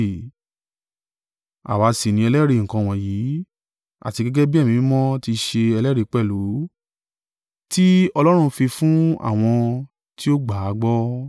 Àwa sì ni ẹlẹ́rìí nǹkan wọ̀nyí, àti gẹ́gẹ́ bí Ẹ̀mí Mímọ́ ti ṣe ẹlẹ́rìí pẹ̀lú, tí Ọlọ́run fi fún àwọn tí ó gbà á gbọ́.”